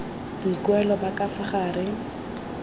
boikuelo ba ka fa gare